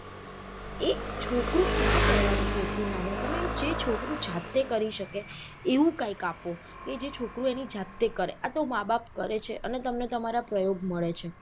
એક છોકરું ક્યાં કરવાનું છે એટલું નાનું તમે જે છોકરું જાતે કરી શકે એવું કાયક આપો કે જે છોકરું એની જાતે કરે આતો માં બાપ કરે છે અને તમને તમારા પ્રયોગ મળે છે.